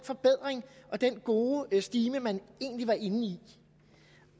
forbedring og den gode stime man egentlig var inde i